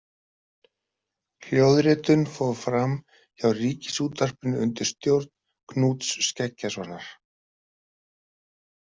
Hljóðritun fór fram hjá Ríkisútvarpinu undir stjórn Knúts Skeggjasonar.